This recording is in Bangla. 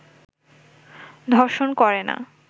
ধর্ষণ করে না